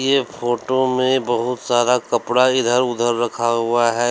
ये फोटो में बहोत सारा कपड़ा इधर उधर रखा हुआ है।